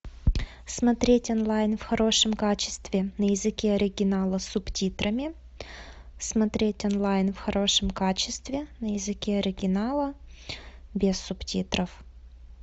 смотреть онлайн в хорошем качестве на языке оригинала с субтитрами смотреть онлайн в хорошем качестве на языке оригинала без субтитров